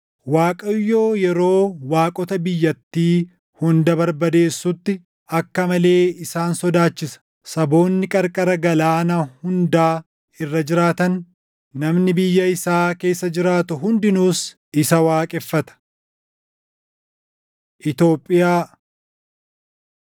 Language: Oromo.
Waaqayyo yeroo waaqota biyyattii hunda barbadeessutti, akka malee isaan sodaachisa. Saboonni qarqara galaana hundaa irra jiraatan, namni biyya isaa keessa jiraatu hundinuus isa waaqeffata. Itoophiyaa